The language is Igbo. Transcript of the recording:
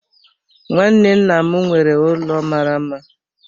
Nwanne nna m nwere ụlọ mara mma.